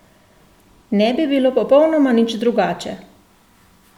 Ne bi bilo popolnoma nič drugače!